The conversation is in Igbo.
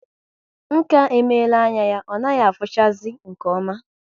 Nka emela anya ya ọ naghị afuchazi nke oma